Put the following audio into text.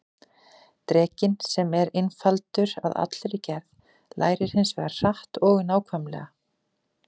Drekinn, sem er einfaldur að allri gerð, lærir hins vegar hratt og nákvæmlega.